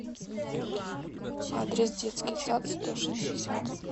адрес детский сад сто шестьдесят